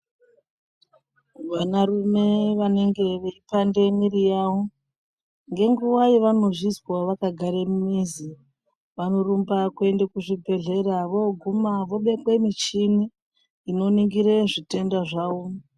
Vanarume vanenge veipanda mwiri yavo ngenguva yavanozvizwa vakagare mumizi. Vanorumba kwende kuzvibhedhlera voguma vobekwe michini inoningire zvitenda zvavo.